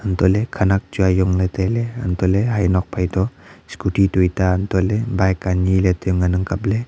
anto ley khenak chu ajong ley tai ley anto ley heje nuak phin toh scooty toila bike ani ley chu ngan ang kap ley.